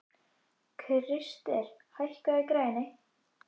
Krister, hækkaðu í græjunum.